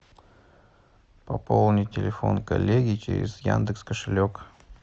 пополни телефон коллеги через яндекс кошелек